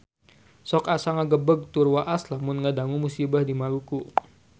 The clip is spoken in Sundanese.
Sok asa ngagebeg tur waas lamun ngadangu musibah di Maluku